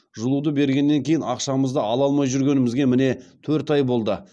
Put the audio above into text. жылуды бергеннен кейін ақшамызды ала алмай жүргенімізге міне төрт ай болды